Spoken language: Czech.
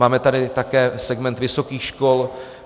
Máme tady také segment vysokých škol.